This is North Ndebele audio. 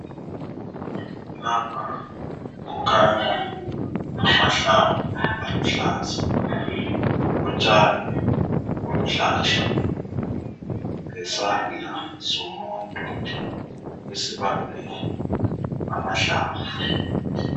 Lapha kukhanya amahlamvu aluhlaza ,utshani obuluhlaza lesandla somuntu esibambe amahlamvu